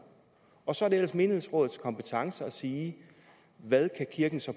og så er det ellers menighedsrådets kompetence at sige hvad kirken så